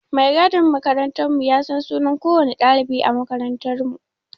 Mai gadin makarantar mu ya san sunan kowanne ɗalibi a makarantar